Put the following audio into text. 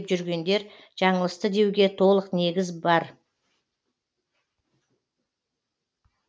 бұл әділетті жол емес сондықтан оны волонтерлықтың бастауы деп жүргендер жаңылысты деуге толық негіз бар